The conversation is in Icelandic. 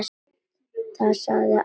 Það sagði alltaf sitt.